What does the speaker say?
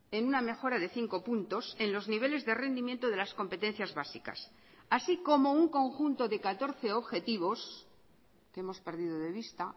en una mejora de cinco puntos en los niveles de rendimiento de las competencias básicas así como un conjunto de catorce objetivos que hemos perdido de vista